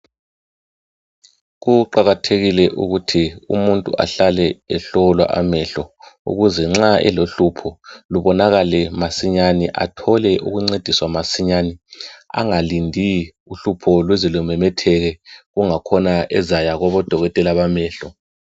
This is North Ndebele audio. Kuqakathekile ukuthi umuntu ahlale ehlolwa amahlo ukuthi nxs elohlupho lubonakale masinyane athole ukungcediswa masinyane engalindi uhlupho luze lumemetheke engakhona ezaya kubodokotela bamehlo